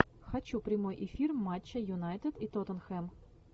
хочу прямой эфир матча юнайтед и тоттенхэм